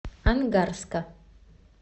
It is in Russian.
ангарска